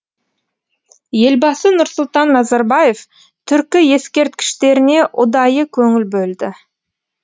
елбасы нұрсұлтан назарбаев түркі ескерткіштеріне ұдайы көңіл бөлді